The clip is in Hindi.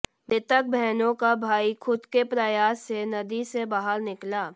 मृतक बहनों का भाई खुद के प्रयास से नदी से बाहर निकला